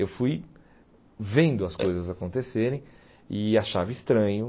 Eu fui vendo as coisas acontecerem e achava estranho.